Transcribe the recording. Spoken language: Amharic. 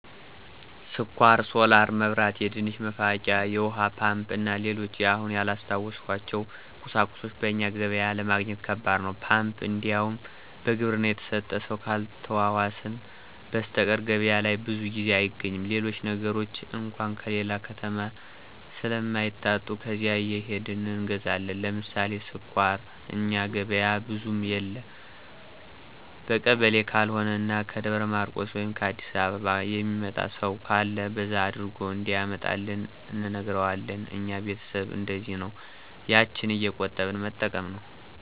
ስኳር፣ ሶላር መብራት፣ የድንች መፋቂያ፣ የውሀ ፓምፕ እና ሌሎችም አሁን ያላስታወስኋቸው ቁሳቁሶች በእኛ ገበያ ለማግኘት ከባድ ነው። ፓምፕ እንዲያውም በግብርና የተሰጠ ሰው ካልተዋዋስን በሰተቀር ገበያ ላይ ብዙ ጊዜ አይገኝም። ሌሎች ነገሮች አንኳ ከሌላ ከተማ ስለማይታጡ ከዚያ እየሄድን እንገዛለን። ለምሳሌ ስኳር እኛ ገበያ ብዙም የለ በቀበሌ ካልሆነ እና ከደብረ ማርቆስ ወይም ከ አዲስ አበባ የሚመጣ ሰው ካለ በዛ አድርጎ እንዲያመጣልን እንነግረዋለን። እኛ ቤተሰብ እነደዚያ ነው ያችን እየቆጠቡ መጠቀም ነው።